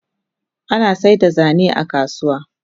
Ana saida zane a kasuwa